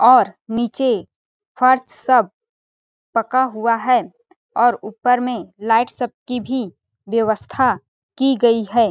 और नीचे फर्श सब पका हुआ है और ऊपर में लाइट सबकी भी बेवस्था की गई है।